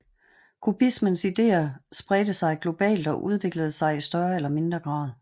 Kubismens idéer spredte sig globalt og udviklede sig i større eller mindre grad